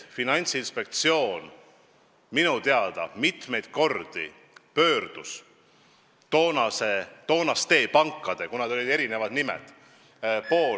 Finantsinspektsioon minu teada pöördus mitmeid kordi toonaste erinevate nimedega pankade poole.